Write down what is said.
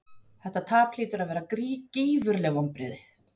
Þetta tap hlýtur að vera gífurleg vonbrigði?